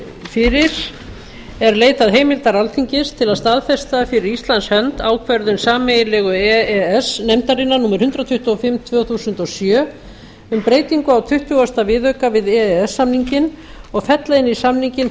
fyrir er leitað heimildar alþingis til að staðfesta fyrir íslands hönd ákvörðun sameiginlegu e e s nefndarinnar númer hundrað tuttugu og fimm tvö þúsund og sjö um breytingu á tuttugasta viðauka við e e s samninginn og fella inn í samninginn